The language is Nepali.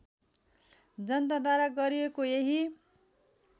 जनताद्वारा गरिएको यही